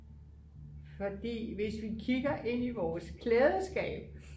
fordi hvis vi kigger ind i vores klædeskab